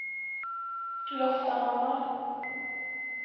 Loftahammar